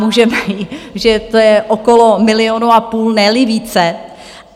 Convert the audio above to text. Můžeme říct, že to je okolo milionu a půl, ne-li více.